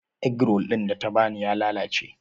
Egg roll ɗin da ta ba ni ya lalace.